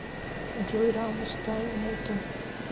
джой рамус тайм муте